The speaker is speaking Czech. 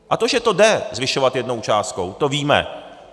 A to, že to jde zvyšovat jednou částkou, to víme.